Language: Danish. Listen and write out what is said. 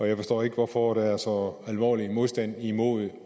jeg forstår ikke hvorfor der er så alvorlig en modstand imod at